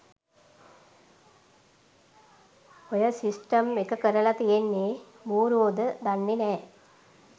ඔය සිස්ටම් එකකරල තියෙන්නෙ බූ‍රුවෝද දන්නෙ නෑ.